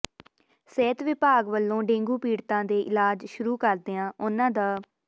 ਸਿਹਤ ਵਿਭਾਗ ਵਲੋਂ ਡੇਂਗੂ ਪੀੜਤਾਂ ਦੇ ਇਲਾਜ ਸ਼ੁਰੂ ਕਰਦਿਆਂ ਉਨ੍ਹਾਂ ਦ